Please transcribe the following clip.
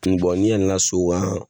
ni yɛlɛna sow kan